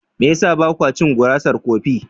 Me ya sa ba ku cin gurasar kofi?